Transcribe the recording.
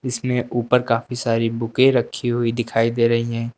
इसमें ऊपर काफी सारी बुके रखी हुई दिखाई दे रही हैं।